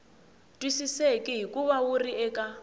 twisiseki hikuva wu ri eka